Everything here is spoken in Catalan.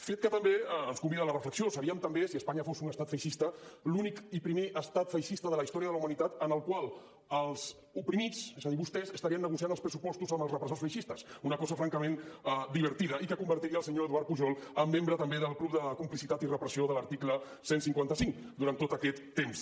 fet que també ens convida a la reflexió seríem també si espanya fos un estat feixista l’únic i primer estat feixista de la història de la humanitat en el qual els oprimits és a dir vostès estarien negociant els pressupostos amb els re·pressors feixistes una cosa francament divertida i que convertiria el senyor eduard pujol en membre també del club de complicitat i repressió de l’article cent i cinquanta cinc durant tot aquest temps